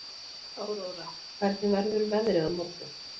Áróra, hvernig verður veðrið á morgun?